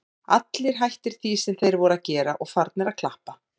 Allir hættir því sem þeir voru að gera og farnir að klappa.